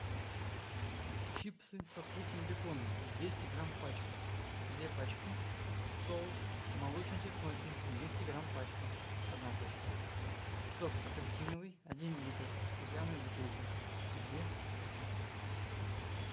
чипсы со вкусом бекона двести грамм пачка две пачки соус молочно чесночный двести грамм пачка одна пачка сок апельсиновый один литр стеклянная бутылка две штуки